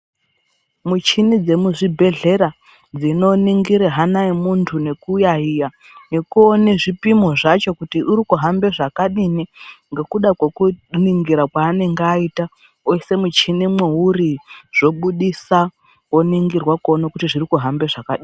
Muchini dzemuzvibhedhlera dzinoningire hana yemuntu nekuyayeya nokuona zvipimo zvacho kuti uri kuhambe zvakadini ngokuda kwokuningira kwaanenge aita oisa muchini mwouri zvobudisa woningirwa kuone kuti zvri kuhambe zvakadini.